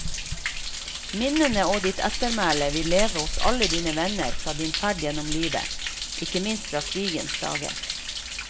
Minnene og ditt ettermæle vil leve hos alle dine venner fra din ferd gjennom livet, ikke minst fra krigens dager.